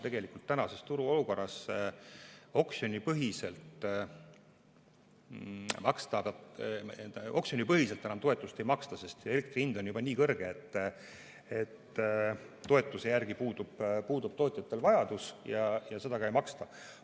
Tegelikult tänases turuolukorras oksjonipõhiselt enam toetust ei maksta, sest elektri hind on juba nii kõrge, et toetuse järele puudub tootjatel vajadus ja seda ka ei maksta.